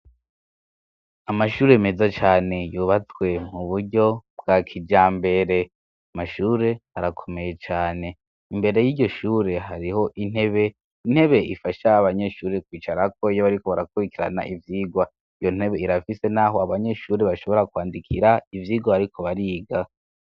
amashuri meza cane yubatswe mu buryo bwa kijambere mashuri arakomeye cane imbere yiryo shuri hariho intebe intebe ifasha abanyeshuri kwicara ko iyo bariko barakubikirana ivyigwa iyo ntebe irafise n'aho abanyeshuri bashobora kwandikira ivyigwa ariko bariga